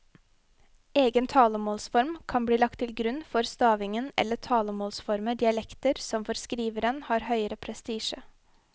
Egen talemålsform kan bli lagt til grunn for stavingen eller talemålsformer i dialekter som for skriveren har høgere prestisje.